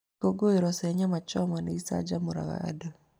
Ikũngũĩro cia nyama choma nĩ icanjamũraga andũ.